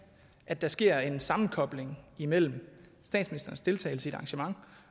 at der sker en sammenkobling imellem statsministerens deltagelse i et arrangement